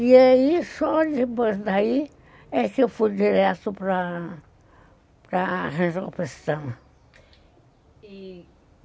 E aí, só depois daí, é que eu fui direto para... para resolução. E